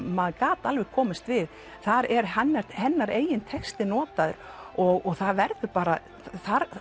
maður gat alveg komist við þar er hennar hennar eigin texti notaður og það verður bara þar